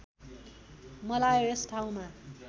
मलायो यस ठाउँका